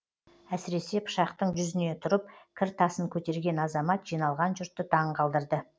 әсіресе пышақтың жүзіне тұрып кір тасын көтерген азамат жиналған жұртты таңғалдырды